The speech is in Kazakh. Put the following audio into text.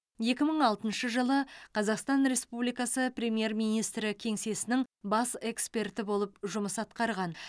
екі мың алтыншы жылы қазақстан республикасы премьер министрі кеңсесінің бас эксперті болып жұмыс атқарған